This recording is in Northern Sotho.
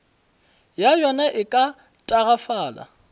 ya yona e ka tagafala